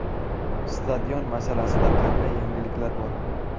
Stadion masalasida qanday yangiliklar bor?